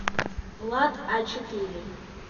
влад а четыре